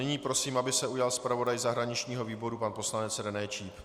Nyní prosím, aby se ujal zpravodaj zahraničního výboru pan poslanec René Číp.